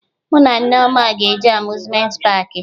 Mụ na Nneoma ga-eje Amuzmenti paakị